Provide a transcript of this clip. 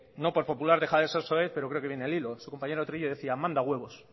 no por popular deja de ser soez pero creo que viene hilo su compañero trillo decía manda huevos